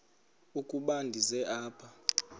ukuba ndize apha